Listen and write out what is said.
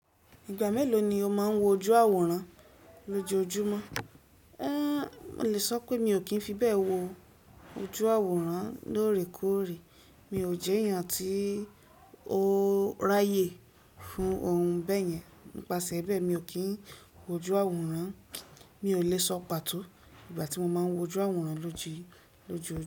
Ìgbà mélòó ni o máa ń wo ojú àwòrán lójojùmọ́? Mo lè sọ pé mi ò kí ń fi bẹ́ẹ̀ wo ojú àwòrán lóòrèkóòrè. Mi ò jẹ́ èèyàn tí ó ráyè fún ohun bẹ́ẹ̀ yẹn. Nípasẹ̀ bẹ́ẹ̀, mi ò kí ń wo ojú àwòrán. Mi ò lè sọ pàtó ìgbà tí mo máa ń wo ojú àwòrán lójijù.